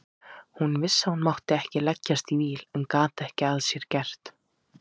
Hún vissi að hún mátti ekki leggjast í víl en gat ekki að sér gert.